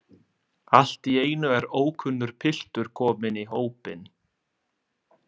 Allt í einu er ókunnur piltur kominn í hópinn.